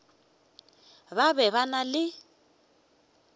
ba be ba na le